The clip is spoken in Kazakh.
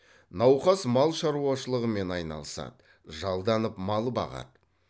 науқас мал шаруашылығымен айналысады жалданып мал бағады